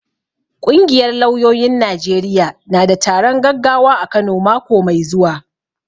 Ƙungiyar lauyoyin Najeriya na da taron gaggawa a Kano mako mai zuwa.